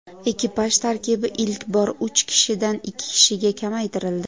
Ekipaj tarkibi ilk bor uch kishidan ikki kishiga kamaytirildi.